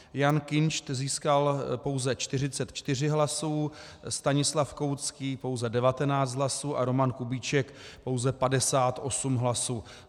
Jan Kinšt získal pouze 44 hlasů, Stanislav Koucký pouze 19 hlasů a Roman Kubíček pouze 58 hlasů.